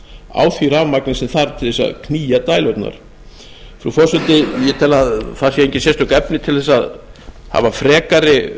á því rafmagni sem þarf til að knýja dælurnar frú forseti ég tel að það séu engin sérstök efni að hafa frekari